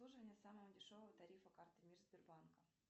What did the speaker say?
обслуживание самого дешевого тарифа карты мир сбербанка